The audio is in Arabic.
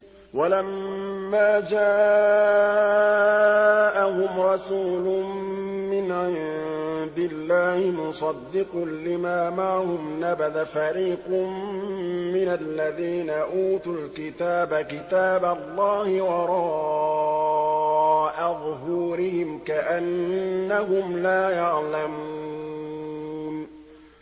وَلَمَّا جَاءَهُمْ رَسُولٌ مِّنْ عِندِ اللَّهِ مُصَدِّقٌ لِّمَا مَعَهُمْ نَبَذَ فَرِيقٌ مِّنَ الَّذِينَ أُوتُوا الْكِتَابَ كِتَابَ اللَّهِ وَرَاءَ ظُهُورِهِمْ كَأَنَّهُمْ لَا يَعْلَمُونَ